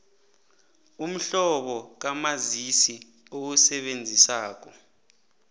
umhlobo kamazisi owusebenzisako